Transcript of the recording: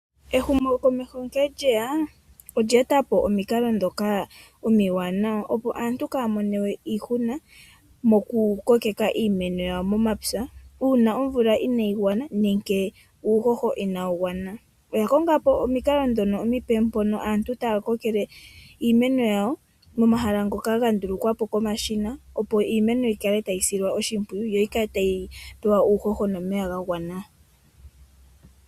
Ehumokomeho nkene lyeya olye etapo omikala ndhoka omiwanawa opo aantu Kaya mone we iihuna moku kokeka iimeno yawo momapya uuna omvula inayi gwana nenge uuhoho inawu gwana .Oya kongapo omikala ndhono omipe mpono aantu taya kokeke iimeno yawo momahala ngoka ga ndulukwapo komashina opo iimeno yikale ta yi silwa oshimpwiyu yo yikale ta yi tulwa uuhoho nomeya ga gwana.